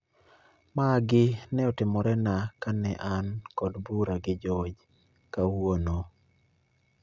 Magi ne otimorena ka ne an kod bura gi George kawuono